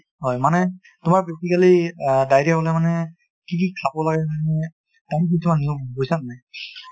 হয় মানে তোমাৰ basically আ diarrhea হ'লে মানে কি কি খাব লাগে কিছুমান নিয়ম, বুজিছা নে নাই ?